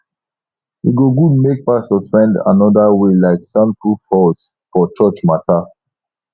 e go good make pastors find anoda way like soundproof halls for church mata